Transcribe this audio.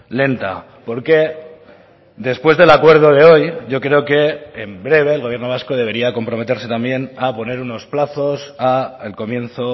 lenta porque después del acuerdo de hoy yo creo que en breve el gobierno vasco debería comprometerse también a poner unos plazos al comienzo